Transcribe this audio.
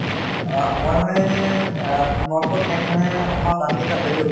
অ মই মানে অ তোমালোকৰ ঠাইত মানে অহা planning এটা আছে টো ।